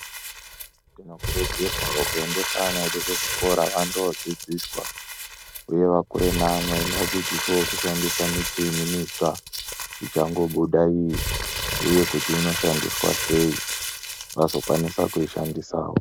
Tinokurudzirwawo kuendesa ana edu kuzvikora vandoodzidziswa, huye vakure neamwen. Vadzidziswewo kushandisa michini mitsva ichangobuda iyi. Uye kuti inoshandiswa sei, vazokwanisa kuishandisawo.